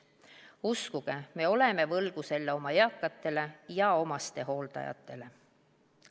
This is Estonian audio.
Uskuge, me oleme selle võlgu oma eakatele ja omastehooldajatele.